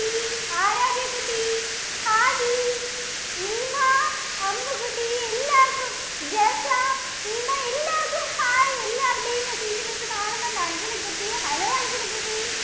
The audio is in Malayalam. ആരാധ്യ കുട്ടി, ഹാദി, നീമ, അമ്മുകുട്ടി, എല്ലാര്‍ക്കും ജെസ, നിമ എല്ലാര്‍ക്കും ഹായ്. എല്ലാരുടെയും message miss കാണുന്നുണ്ട്. അഞ്ജന കുട്ടി, hello അഞ്ജന കുട്ടി